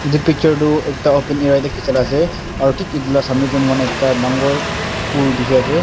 itu picture tu ekta open area tey kichila ase aru thik itu la samay tey muhan ekta dangor pool dikhi ase.